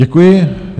Děkuji.